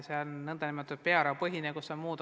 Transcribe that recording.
See on nn pearahapõhine arvestus.